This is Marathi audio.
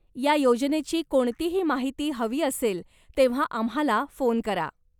या योजनेची कोणतीही माहिती हवी असेल तेव्हा आम्हाला फोन करा.